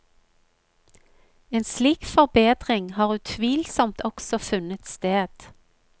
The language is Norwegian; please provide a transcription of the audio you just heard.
En slik forbedring har utvilsomt også funnet sted.